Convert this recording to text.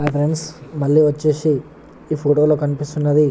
hi friends మల్లి ఒచేసి ఈ ఫోటో లో కనిపిస్తునది --